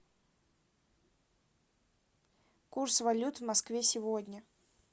курс валют в москве сегодня